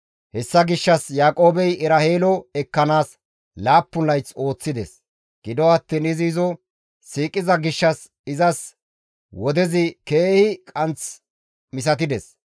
Hessa gishshas Yaaqoobey Eraheelo ekkanaas laappun layth ooththides; gido attiin izi izo siiqiza gishshas izas wodezi keehi qaanth misatides.